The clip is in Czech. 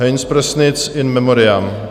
Heinz Prossnitz, in memoriam.